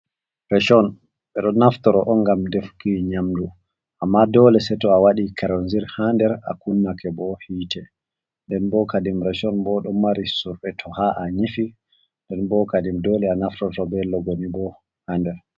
Rashon ɓeɗo naftirto on ngam defuki nyamdu amma dole sei to a waɗi keronzir ha nder a kunnake bo hiite nden bo kadim reshon bo ɗo mari surre to ha a nyifi nden bo kadi dole a naftorto be logoni bo ha nder.